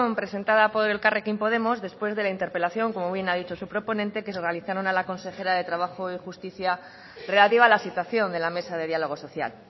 presentada por elkarrekin podemos después de la interpelación como muy bien ha dicho su proponente que se realizaron a la consejera de trabajo y justicia relativa a la situación de la mesa de diálogo social